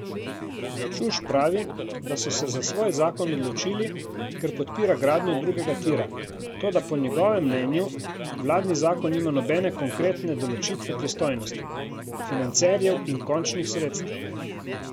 Čuš pravi, da so se za svoj zakon odločili, ker podpira gradnjo drugega tira, toda po njegovem mnenju vladni zakon nima nobene konkretne določitve pristojnosti, financerjev in končnih sredstev.